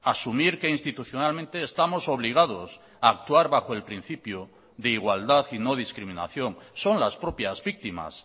asumir que institucionalmente estamos obligados a actuar bajo el principio de igualdad y no discriminación son las propias víctimas